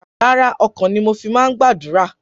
Rárá, ọkàn ni mo fi máa ń gbàdúrà.